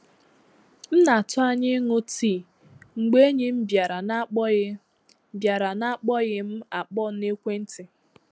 M na-atụ anya ịṅụ tii, mgbe enyi m bịara na akpoghị bịara na akpoghị m akpọ na ekwentị